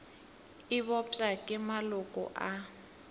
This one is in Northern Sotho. e bopša ke maloko a